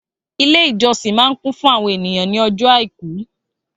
Ilé ìjọsìn máa kún fún àwọn ènìyàn ní ọjọ́ àìkú